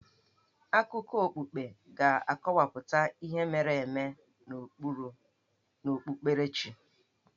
Akụkọ okpukpe ga-akọwapụta ihe mere eme n'okpukperechi.